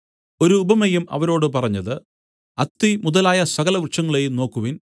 ഒരുപമയും അവരോട് പറഞ്ഞത് അത്തി മുതലായ സകല വൃക്ഷങ്ങളെയും നോക്കുവിൻ